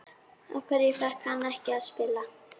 Af hverju fékk hann ekki að spila?